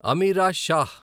Ameera Shah